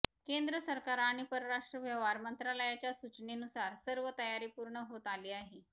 केंद्र सरकार आणि परराष्ट्र व्यवहार मंत्रालयाच्या सुचनेनुसार सर्व तयारी पूर्ण होत आली आहे